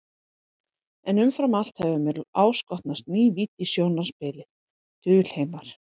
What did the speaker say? En umfram allt hefur mér áskotnast ný vídd í sjónarspilið, dulheimar.